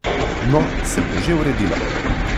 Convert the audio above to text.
No, se bo že uredilo.